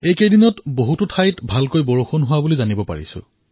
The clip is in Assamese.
এইকেইদিনত বহু স্থানৰ পৰা বৰ্ষা ঋতুৰ ভাল খবৰ আহি আছে